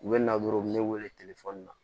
U bɛ na dɔrɔn u bɛ ne wele